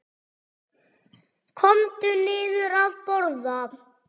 Komdu niður að borða.